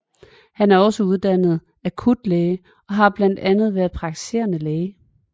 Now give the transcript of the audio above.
Han er også uddannet akutlæge og har blandt andet været praktiserende læge